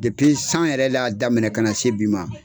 san yɛrɛ de ya daminɛ ka na se bi ma